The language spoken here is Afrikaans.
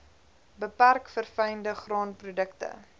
beperk verfynde graanprodukte